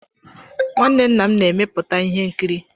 Nwanne nna m na-emepụta ihe nkiri.